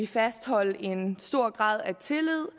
fastholde en stor grad af tillid